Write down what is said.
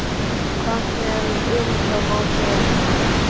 Hvað sem um það má segja þá var